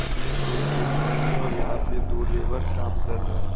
इसमें कोई पेंट नहीं है और यहां पे दो लेबर काम कर रहे हैं।